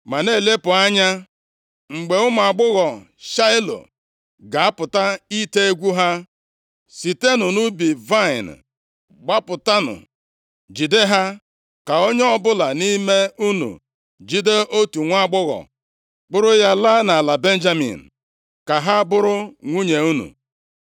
ma na-elepụ anya. Mgbe ụmụ agbọghọ Shaịlo ga-apụta ite egwu ha, sitenụ nʼubi vaịnị gbapụtanụ jide ha, ka onye ọbụla nʼime unu jide otu nwaagbọghọ kpụrụ ya laa nʼala Benjamin, ka ha bụrụ nwunye unu.